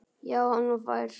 Já, hann var fær!